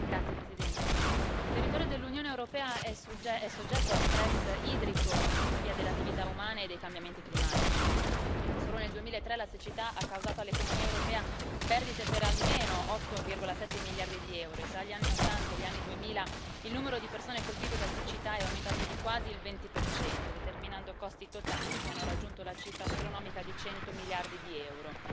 Signora Presidente, onorevoli colleghi, il territorio dell'Unione europea è soggetto a stress idrico per via delle attività umane e dei cambiamenti climatici. Solo nel 2003 la siccità ha causato all'economia europea perdite per almeno 8,7 miliardi di euro, e tra gli anni Ottanta e gli anni Duemila il numero di persone colpite da siccità è aumentato di quasi il 20 determinando costi totali che hanno raggiunto la cifra astronomica di 100 miliardi di euro.